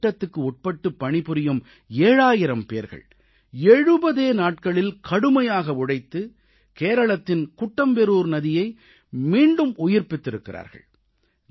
இந்தத் திட்டத்துக்குட்பட்டு பணிபுரியும் 7000 பேர்கள் எழுபதே நாட்களில் கடுமையாக உழைத்து கேரளத்தின் குட்டம்பெரூர் நதியை மீண்டும் உயிர்ப்பித்திருக்கிறார்கள்